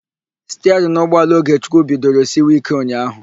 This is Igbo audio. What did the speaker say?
Stiarịnụ ụgbọala Ogechukwu bidoro siwe íké ụnyaahụ.